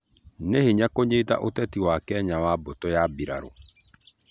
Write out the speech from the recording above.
Nĩ hĩnya kunyĩta ũtetĩ wa Kenya wa mbutũ ya bĩrarũ